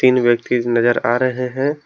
तीन व्यक्ति नजर आ रहे हैं।